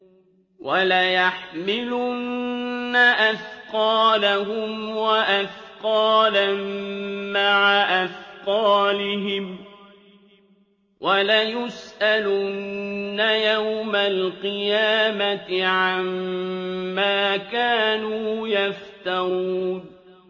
وَلَيَحْمِلُنَّ أَثْقَالَهُمْ وَأَثْقَالًا مَّعَ أَثْقَالِهِمْ ۖ وَلَيُسْأَلُنَّ يَوْمَ الْقِيَامَةِ عَمَّا كَانُوا يَفْتَرُونَ